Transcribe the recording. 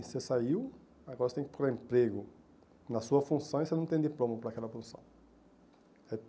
Você saiu, agora você tem que procurar emprego na sua função e você não tem diploma para aquela função. É